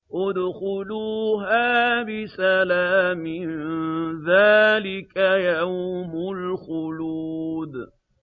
ادْخُلُوهَا بِسَلَامٍ ۖ ذَٰلِكَ يَوْمُ الْخُلُودِ